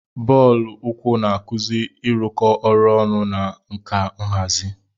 Bọọlụ uku na-akuzi ịrụkọ ọrụ ọnụ na nka nhazi.